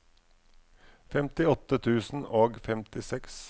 femtiåtte tusen og femtiseks